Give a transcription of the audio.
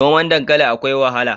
Noman dankali akwai wahala.